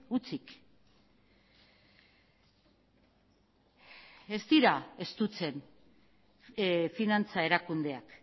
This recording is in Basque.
hutsik ez dira estutzen finantza erakundeak